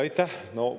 Aitäh!